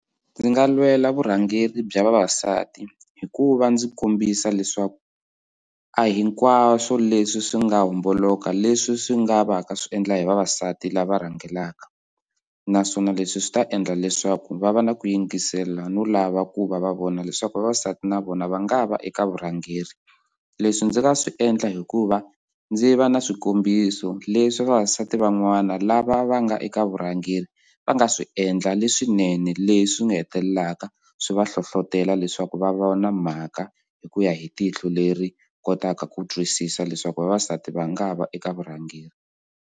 Ndzi nga lwela vurhangeri bya vavasati hi ku va ndzi kombisa leswaku a hinkwaswo leswi swi nga homboloka leswi swi nga va ka swi endla hi vavasati lava rhangelaka naswona leswi swi ta endla leswaku va va na ku yingisela no lava ku va va vona leswaku vavasati na vona va nga va eka vurhangeri leswi ndzi nga swi endla hi ku va ndzi va na swikombiso leswi vavasati van'wana la va va nga eka vurhangeri va nga swi endla leswinene leswi nga hetelelaka swi va hlohlotela leswaku va vona mhaka hi ku ya hi tihlo leri kotaka ku twisisa leswaku vavasati va nga va eka vurhangeri.